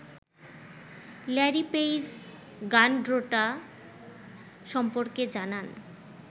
Larry Page Gundotra সম্পর্কে জানান